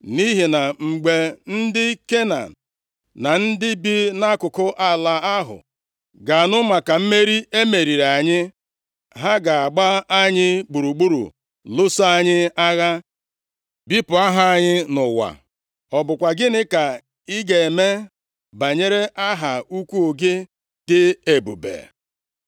Nʼihi na mgbe ndị Kenan na ndị bi nʼakụkụ ala ahụ ga-anụ maka mmeri e meriri anyị, ha ga-agba anyị gburugburu lụso anyị agha, bipụ aha anyị nʼụwa. Ọ bụkwa gịnị ka ị ga-eme banyere aha ukwu gị dị ebube?”